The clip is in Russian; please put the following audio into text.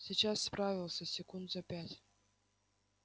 сейчас справился секунд за пять